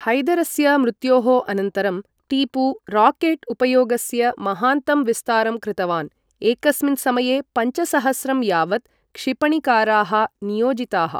हैदरस्य मृत्योः अनन्तरं टीपु राकेट् उपयोगस्य महान्तं विस्तारं कृतवान्, एकस्मिन् समये पञ्चसहस्रं यावत् क्षिपणिकाराः नियोजिताः।